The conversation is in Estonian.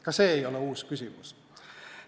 Ka see ei ole uus küsimus.